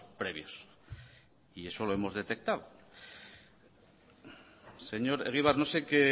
previos y eso lo hemos detectado señor egibar no sé qué